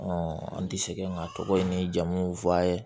an tɛ sɛgɛn min a tɔgɔ ye ni jamu